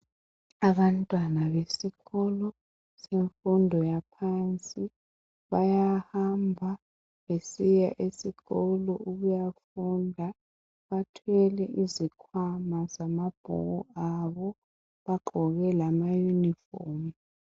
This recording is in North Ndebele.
Abantwana besikolo semfundo yangaphansi bayahamba besiya esikolo ukuyafunda, bathwele izikhwama zamabhuku abo bagqoke lamayunifomu.